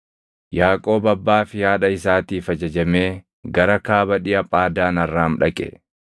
Yaaqoob abbaa fi haadha isaatiif ajajamee gara kaaba dhiʼa Phaadaan Arraam dhaqe.